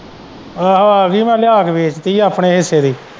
ਉਹ ਆਹੋ ਆ ਗਈ ਮੈਂ ਲਿਆ ਕੇ ਵੇਚਤੀ ਹੀ ਆਪਣੇ ਹਿੱਸੇ ਦੀ।